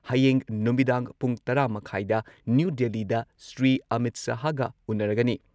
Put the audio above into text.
ꯍꯌꯦꯡ ꯅꯨꯃꯤꯗꯥꯡ ꯄꯨꯡ ꯇꯔꯥ ꯃꯈꯥꯏꯗ ꯅ꯭ꯌꯨ ꯗꯦꯜꯂꯤꯗ ꯁ꯭ꯔꯤ ꯑꯃꯤꯠ ꯁꯍꯥꯍꯒ ꯎꯟꯅꯔꯒꯅꯤ